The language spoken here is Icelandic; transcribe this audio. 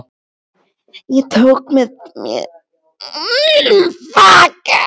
Ég tók með mér tvær bækur á spítalann